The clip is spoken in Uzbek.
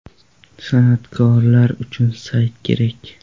San’atkorlar uchun sayt kerak.